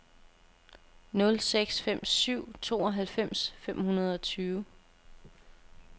nul seks fem syv tooghalvfems fem hundrede og tyve